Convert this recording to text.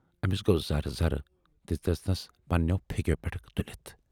ٲمِس گَو زَرٕ زَرٕ تہٕ دِژنَس پَنہٕ نٮ۪و پھیکٮ۪و پٮ۪ٹھٕ تُلِتھ۔